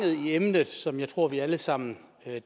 i emnet som jeg tror vi alle sammen